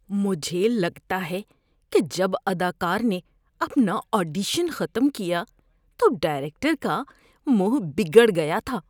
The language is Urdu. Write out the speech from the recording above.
مجھے لگتا ہے کہ جب اداکار نے اپنا آڈیشن ختم کیا تو ڈائریکٹر کا منہ بگڑ گیا تھا۔